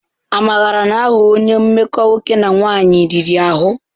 Amara na-aghọ onye mmekọ nwoke na nwanyị riri ahụ.